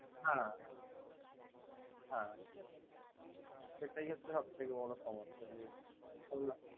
হ্যা হ্যা সেটাই হচ্ছে সবথেকে বর সমস্যা।